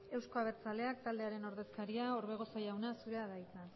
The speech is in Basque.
euzko abertzaleak taldearen ordezkaria orbegozo jauna zurea da hitza